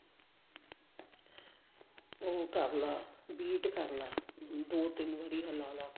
ਉਹ ਕਰਲਾ beat ਕਰਲਾ ਦੋ ਤਿੰਨ ਵਾਰੀ ਹਲਾ ਲਾ